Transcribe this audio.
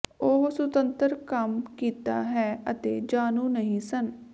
ਉਹ ਸੁਤੰਤਰ ਕੰਮ ਕੀਤਾ ਹੈ ਅਤੇ ਜਾਣੂ ਨਹੀ ਸਨ